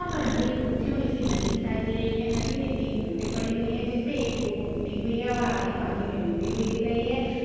यहाँ पर सुखी हुई सी नदी दिखाई रही है नदी मे तीन बोटे पड़ी हुई है जिस मे एक बोट टूटी हुई है और आधी पानी मे डूबी हुई दिख रही है। ]